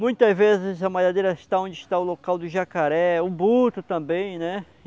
Muitas vezes a malhadeira está onde está o local do jacaré, o boto também, né?